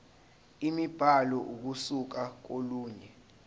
imibhalo ukusuka kolunye